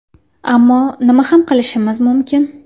Ammo nima ham qilishimiz mumkin?